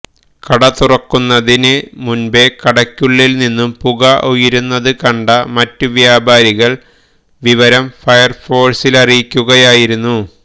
കട തുറക്കുന്നതിന് മുമ്പെ കടക്കുള്ളില് നിന്നും പുക ഉയരുന്നതു കണ്ട മറ്റ് വ്യാപാരികള് വിവരം ഫയര്ഫോഴ്സിലറിയിക്കുകയായിരുന്നു